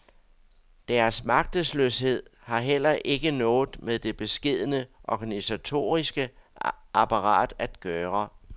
Deres magtesløshed har heller ikke noget med det beskedne organisatoriske apparat at gøre.